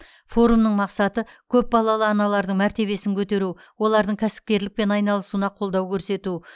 форумның мақсаты көпбалалы аналардың мәртебесін көтеру олардың кәсіпкерлікпен айналысуына қолдау көрсету